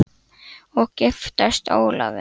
Hödd: Og giftast Ólafi?